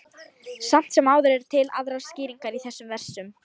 Samt sem áður eru til aðrar skýringar á þessum versum.